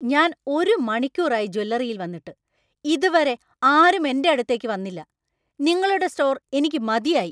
ഞാൻ ഒരു മണിക്കൂർ ആയി ജ്വല്ലറിയിൽ വന്നിട്ട് , ഇതുവരെ ആരും എന്‍റെ അടുത്തേക്ക് വന്നില്ല. നിങ്ങളുടെ സ്റ്റോർ എനിക്ക് മതിയായി.